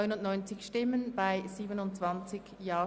Weitergehende Senkung des Zinses auf zu viel bezahlten Steuern: